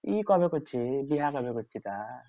ই কবে করছিস বিহা কবে করছিস তা?